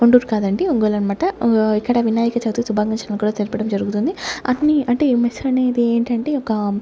గుంటురు కాదండి ఒంగోలన్మాట ఉ ఇక్కడ వినాయక చవితి శుభాకాంక్షలను కూడా తెలపడం జరుగుతుంది అట్నే అంటే ఈ మెస్సులనేది ఏంటంటే ఒక--